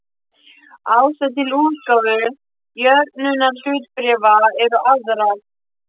Ástæður til útgáfu jöfnunarhlutabréfa eru aðrar.